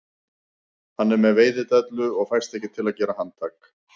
Hann er með veiðidellu og fæst ekki til að gera handtak